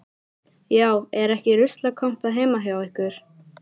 Já, er ekki ruslakompa heima hjá ykkur.